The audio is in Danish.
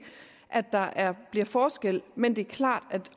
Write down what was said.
at der bliver forskel men det er klart at